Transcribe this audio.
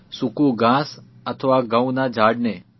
સૂકૂં ઘાસ અથવા ઘઉંના ઝાડને